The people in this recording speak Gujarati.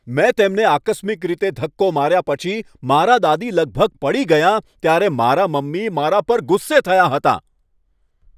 મેં તેમને આકસ્મિક રીતે ધક્કો માર્યા પછી મારાં દાદી લગભગ પડી ગયાં ત્યારે મારાં મમ્મી મારા પર ગુસ્સે થયાં હતાં.